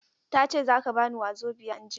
Ta ce za ka ba ni Wazobia anjima.